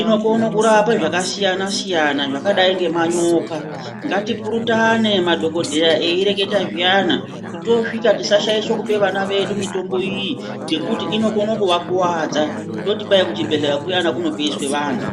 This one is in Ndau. Inokone kurapa zvakasiyana-siyana zvakadai ngemanyoka. Ngatipurutane madhokodheya eyireketa zviyana. Toswika tisashaishe kupe vana vedu mitombo iyi ngekuti inokone kuvakuvadza, toti kuchibhedhleya kuyana kunopeisve vanhu.